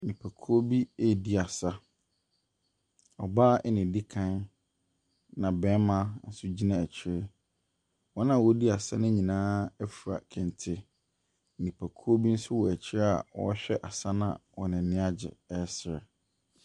Nnipakuo bi redi asa. Ɔbaa na ɔdi kan, na barima nso gyina akyire. Wɔn a wɔredi asa no nyinaa afura kente. Nnipakuo bi nso wɔ akyire a wɔrehwɛ asa no a wɔn ani agye resre.